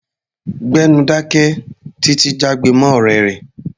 Gbẹ́nu dáké! Títi jágbe mọ́ ọ̀rẹ́ rẹ̀.